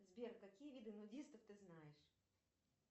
сбер какие виды нудистов ты знаешь